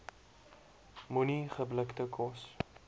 moenie geblikte kos